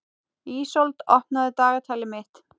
Ísold, opnaðu dagatalið mitt.